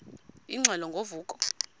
ingxelo ngo vuko